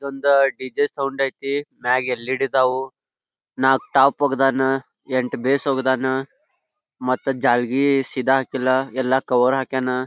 ಇದೊಂದ D J sound ಐತಿ ಮ್ಯಾಗ L E D ಅದಾವು ನಾಕ್ಕ ಟಾಪ್ ಒಗದಾನ್ ಎಂಟ್ ಬೇಸ್ ಒಗದಾನ್ ಮತ್ ಜಾಲಗಿ ಸೀದಾ ಹಾಕಿಲ್ಲಾ ಎಲ್ಲಾ ಕವರ್ ಹಾಕ್ಯಾನ್.